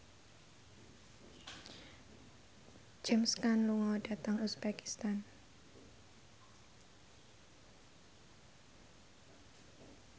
James Caan lunga dhateng uzbekistan